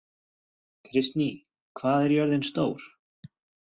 Kristný, hvað er jörðin stór?